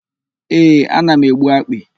Ee, ana m egbu akpị.